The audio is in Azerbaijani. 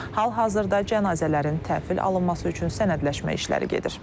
Hal-hazırda cənazələrin təhvil alınması üçün sənədləşmə işləri gedir.